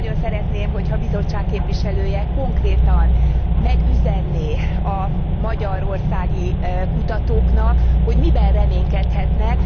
Nagyon szeretném, ha a Bizottság képviselője konkrétan megüzenné a magyarországi kutatóknak, hogy miben reménykedhetnek.